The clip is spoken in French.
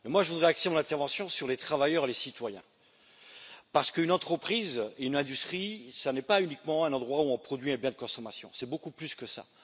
Je voudrais axer mon intervention sur les travailleurs et les citoyens, parce qu'une entreprise, une industrie, ce n'est pas uniquement un endroit où l'on produit un bien de consommation, c'est beaucoup plus que ça.